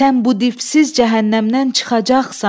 Sən bu dipsiz cəhənnəmdən çıxacaqsan.